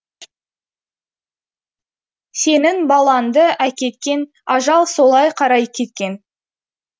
сенің балаңды әкеткен ажал солай қарай кеткен